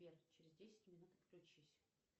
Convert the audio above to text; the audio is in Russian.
сбер через десять минут отключись